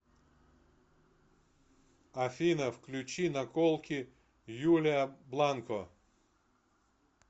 афина включи наколки юлия бланко